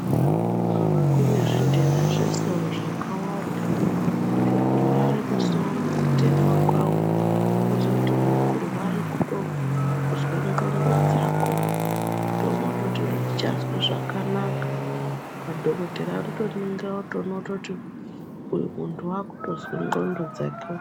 Kune zvintenda zvesoro zvakawanda zvekurware musoro kutema kwawo kwozotinzvekurware kutozwe ndxondo dzako kutoona kutoti adzichazwi zvakanaka madhokodheya anotoningira otoone kutoti uyu muntu wakutozwe ndxondo dzake.